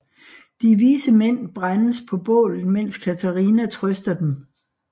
De vise mænd brændes på bålet mens Katarina trøster dem